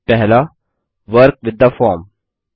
पहला work with the form